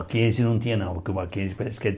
Mckenzie não tinha não porque o Mckenzie parece que ele